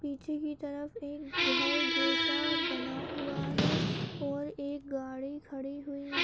निचे की तरफ एक घर जैसा बना हुआ है और एक गाडी खड़ी हुई --